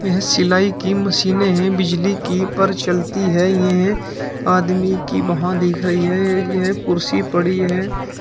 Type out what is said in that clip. यह सिलाई की मशीने है बिजली की पर चलती है ये हैं आदमी की वहां देख रही है ये है यह कुर्सी पड़ी है।